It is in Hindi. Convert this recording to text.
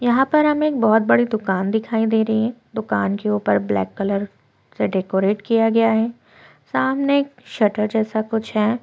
यहाँ पर हमें एक बहुत बड़ी दुकान दिखाई दे रही है दुकान के ऊपर ब्लैक कलर से डेकोरेट किया गया है सामने शटर जैसा कुछ हैं।